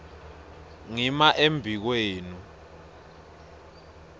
ngima embi kwenu